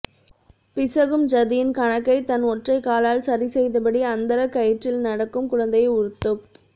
பிசகும் ஜதியின் கணக்கைத் தன் ஒற்றைக்காலால் சரிசெய்தபடி அந்தரக் கயிற்றில் நடக்கும் குழந்தையை உறுத்துப்